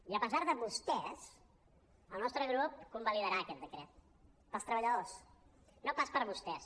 i a pesar de vostès el nostre grup convalidarà aquest decret pels treballadors no pas per vostès